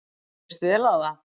Mér lýst vel á það.